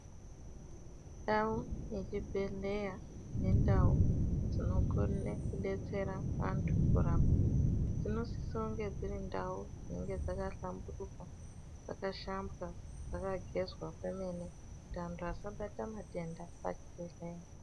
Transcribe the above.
Ndau ye chibhedhleya nendau dzinokona kudetsera anthu kurapa, dzinosise kunge dziri ndau dzakahlamburuka, dzakashambwa, dzakagezwa kwemene, kuti anthu asabata matenda pa chibhedhleya.